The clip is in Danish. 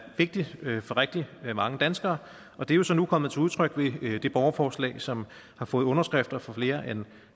vigtigt for rigtig mange danskere og det er jo så nu kommet til udtryk ved det borgerforslag som har fået underskrifter fra flere end